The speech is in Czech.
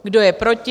Kdo je proti?